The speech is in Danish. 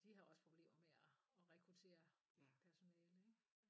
De har også problemer med at at rekruttere personale ik